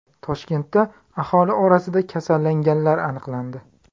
Toshkentda aholi orasida kasallanganlar aniqlandi.